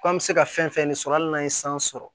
Ko an bɛ se ka fɛn fɛn sɔrɔ hali n'an ye san sɔrɔ